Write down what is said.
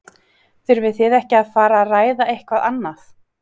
Þurfið þið ekki að fara ræða eitthvað annað?